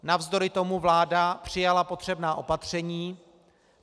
Navzdory tomu vláda přijala potřebná opatření.